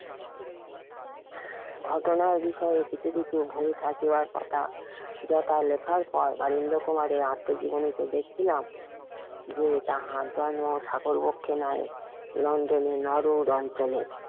ঘটনার বিষয়ে এই পৃথিবীতে থাকিবার কথা যথা লেখার পর বাড়ির লোকও আনন্দ কুমার এর আত্মাজিবনিতে দেখিলাম যে এ টা হাজারো নয় তাহার লন্ডনের নরুর অঞ্চলে